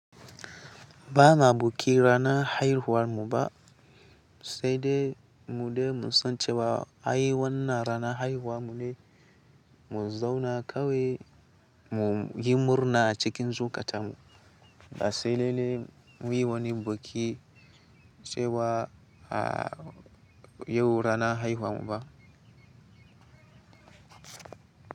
Ba ma buki rana haihuwar mu ba sai dai mu de mun san cewa ai wannan rana haihuwar mu ne, mu zauna kawai mu yi murna cikin zukatanmu ba sai lalle muyi wani baki cewa yau rana haihuwar mu ba.